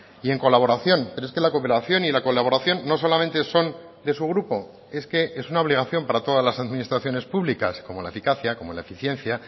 y en colaboración pero es que la cooperación y la colaboración no solamente son de su grupo es que es una obligación para todas las administraciones públicas como la eficacia como la eficiencia